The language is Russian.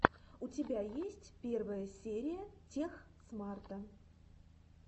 у тебя есть первая серия тех смарта